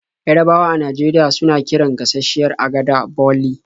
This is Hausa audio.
Yarabawa a Najeriya suna kiran gashasshiyar agada 'boli'.